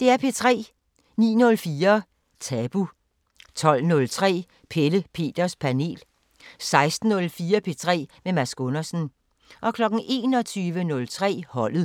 09:04: Tabu 12:03: Pelle Peters Panel 16:04: P3 med Mads Gundersen 21:03: Holdet